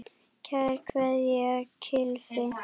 Kær kveðja, Gylfi.